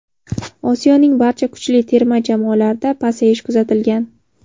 Osiyoning barcha kuchli terma jamoalarida pasayish kuzatilgan.